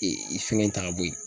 fɛngɛ in ta ka bɔ yen.